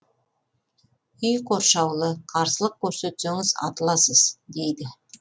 үй қоршаулы қарсылық көрсетсеңіз атыласыз дейді